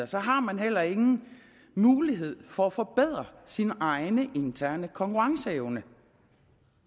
så har man heller ingen mulighed for at forbedre sin egen interne konkurrenceevne